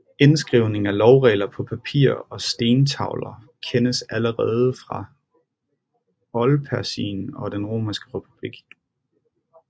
Indskrivningen af lovregler på papir og stentavler kendes allerede fra Oldpersien og den Romerske republik